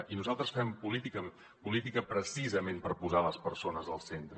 i nosaltres fem política precisament per posar les persones al centre